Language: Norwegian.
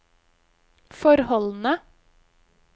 forholdene